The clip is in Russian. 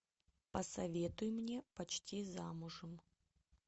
посоветуй мне почти замужем